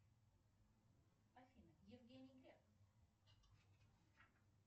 афина евгений греф